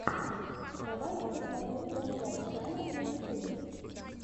давай я посмотрю данзай чана на ютюбе